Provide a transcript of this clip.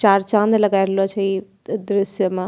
चार चाँद लगाय रहलो छे इ दृश्य में ।